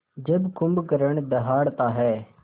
जब कुंभकर्ण दहाड़ता है